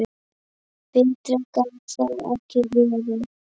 Betra gat það ekki verið.